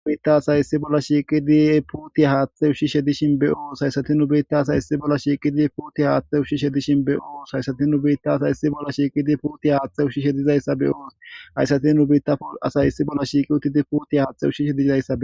Dubiitta asay issi bolla shiiqidi putiya haaththe ushshi shedishin be'oo saysati nu beitta sayssi bolla shiiqidi puti haaththe ushshi shedishin be'oo saysati nu beitta sayssi bolla shiiqidi puti haaththe ushshi shedizayssa beo hayssati nubiitta asay issi bolla shiiqi uttidi putiy haaththe ushshi shedizizayssa